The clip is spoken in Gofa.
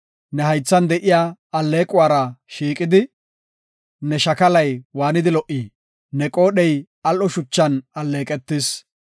Ne haythan de7iya alleequwara shiiqidi, ne shakalay waanidi lo77i! Ne qoodhey al7o shuchan alleeqetis.